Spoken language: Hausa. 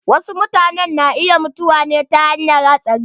Wasu mutanen na mutuwa ta hanyar hatsari.